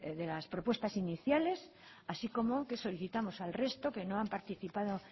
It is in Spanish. de las propuestas iniciales así como que solicitamos al resto que no han participado